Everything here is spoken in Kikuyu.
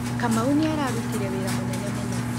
Kamau nĩ arutire wĩra mũnene mũno.